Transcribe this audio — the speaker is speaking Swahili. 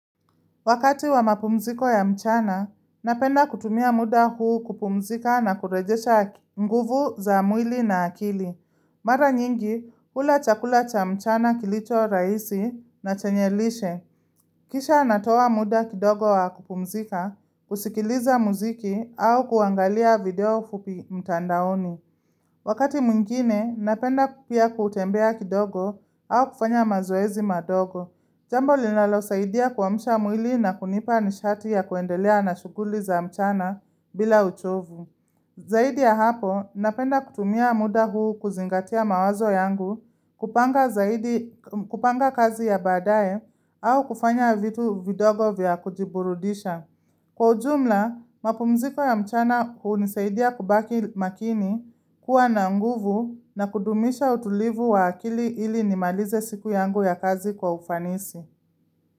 Wakati wa mapumziko ya mchana, napenda kutumia muda huu kupumzika na kurejesha nguvu za mwili na akili. Mara nyingi, hula chakula cha mchana kilicho rahisi na chenye lishe. Kisha natoa muda kidogo wa kupumzika, kusikiliza muziki au kuangalia video fupi mtandaoni. Wakati mwingine, napenda pia kutembea kidogo, au kufanya mazoezi madogo. Jambo linalosaidia kuamsha mwili na kunipa nishati ya kuendelea na shughuli za mchana bila uchovu. Zaidi ya hapo, napenda kutumia muda huu kuzingatia mawazo yangu, kupanga kazi ya baadaye au kufanya vitu vidogo vya kujiburudisha. Kwa ujumla, mapumziko ya mchana hunisaidia kubaki makini, kuwa na nguvu, na kudumisha utulivu wa akili ili nimalize siku yangu ya kazi kwa ufanisi.